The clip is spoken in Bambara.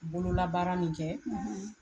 Bololabaara min kɛ, .